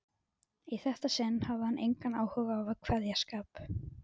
Í þetta sinn hafði hann engan áhuga á kveðskap.